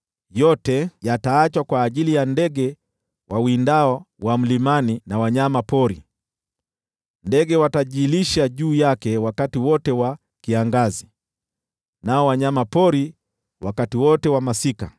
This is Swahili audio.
Yote yataachwa kwa ajili ya ndege wawindao wa mlimani na wanyama pori, ndege watajilisha juu yake wakati wote wa kiangazi, nao wanyama pori wakati wote wa masika.